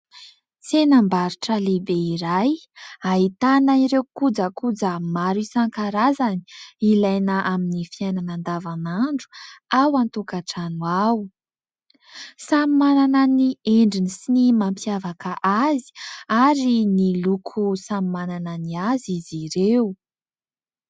Tsenam-barotra lehibe iray ahitana ireo kojakoja maro isan-karazany ilaina amin'ny fiainana andavanandro ao an-tokantrano ao. Samy manana ny endriny sy ny mampiavaka azy ary ny loko samy manana ny azy izy ireo.